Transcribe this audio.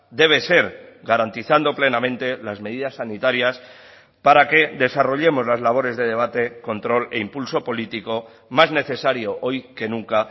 debe ser garantizando plenamente las medidas sanitarias para que desarrollemos las labores de debate control e impulso político más necesario hoy que nunca